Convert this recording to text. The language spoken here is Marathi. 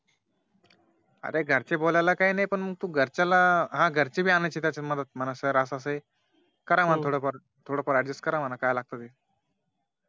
अरे घरचे बोलयला काही नाही पण मग तू घरच्याला हा घरच्याला पण अनायाच त्याच्या मध्ये म्हण Sir असं असं आहे करा म्हण थोडं फार थोडं फार Adjust करा म्हण काय लागत ते